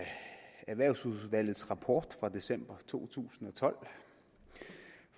erhvervsfondsudvalgets rapport fra december to tusind og tolv